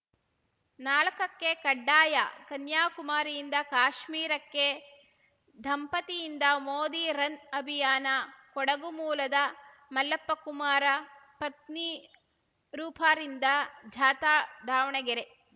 ನಾಲಕಕ್ಕೆಕಡ್ಡಾಯಕನ್ಯಾಕುಮಾರಿಯಿಂದ ಕಾಶ್ಮೀರಕ್ಕೆ ದಂಪತಿಯಿಂದ ಮೋದಿ ರನ್‌ ಅಭಿಯಾನ ಕೊಡಗು ಮೂಲದ ಮಲ್ಲಪ್ಪಕುಮಾರ ಪತ್ನಿ ರೂಪಾರಿಂದ ಜಾಥಾ ದಾವಣಗೆರೆ